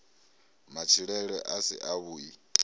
matshilele a si a vhui